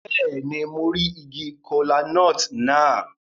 Béèni, mo ri ìgi kola-nut náà